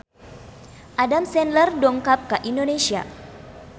Adam Sandler dongkap ka Indonesia